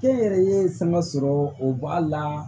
Kɛnyɛrɛye sama sɔrɔ o b'a la